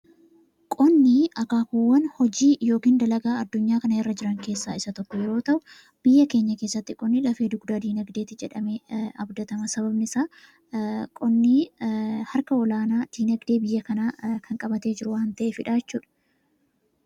qonni akaakuwwan hojii yookiin dalagaa addunyaa kana irra jiran keessaa isa tokko yeroo ta'u biyya keenya keessatti qonni lafee dugdaa diinagdeeti jedhame abdatama. sababni isaa qonnii harka olaanaa diinagdee biyya kanaa kan qabatee jira waan ta'eef.